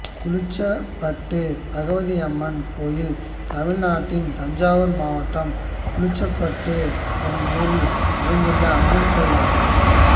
குளிச்சப்பட்டு பகவதியம்மன் கோயில் தமிழ்நாட்டில் தஞ்சாவூர் மாவட்டம் குளிச்சப்பட்டு என்னும் ஊரில் அமைந்துள்ள அம்மன் கோயிலாகும்